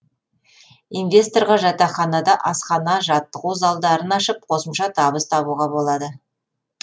инвесторға жатақханада асхана жаттығу залдарын ашып қосымша табыс табуға болады